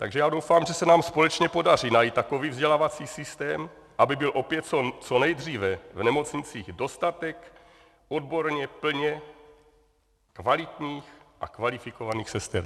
Takže já doufám, že se nám společně podaří najít takový vzdělávací systém, aby byl opět co nejdříve v nemocnicích dostatek odborně plně kvalitních a kvalifikovaných sester.